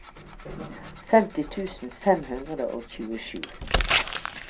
femti tusen fem hundre og tjuesju